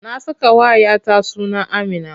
Na sakawa 'ya ta suna Amina.